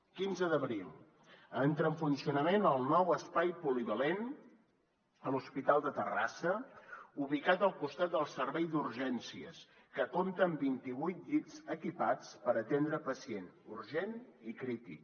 quinze d’abril entra en funcionament el nou espai polivalent a l’hospital de terrassa ubicat al costat del servei d’urgències que compta amb vint i vuit llits equipats per atendre pacient urgent i crític